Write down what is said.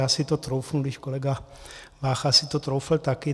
Já si to troufnu, když kolega Vácha si to troufl taky.